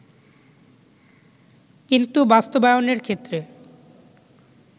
কিন্তু বাস্তবায়নের ক্ষেত্রে